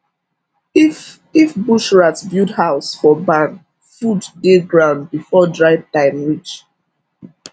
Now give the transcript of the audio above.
if if bush rat build house for barn food dey ground before dry time reach